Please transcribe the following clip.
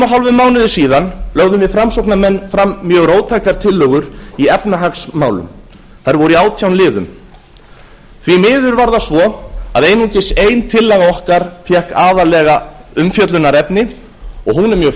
hálfum mánuði síðan lögðum við framsóknarmenn fram mjög róttækar tillögur í efnahagsmálum þær voru í átján liðum því miður var það svo að einungis ein tillaga fékk aðallega umfjöllunarefni og hún er mjög